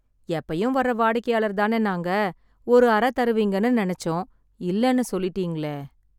எப்பயும் வர்ற வாடிக்கையாளர் தான நாங்க, ஒரு அற தருவீங்கன்னு நெனச்சோம், இல்லெனு சொல்லிட்டீங்களே.